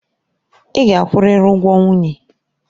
Ị ga-akwụrịrị ụgwọ nwunye.